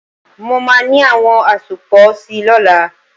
Mo máa ní àwọn àsopọ̀ si lọ́la.